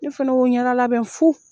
Ne fɛnɛ ye n ɲɛda labɛn fu.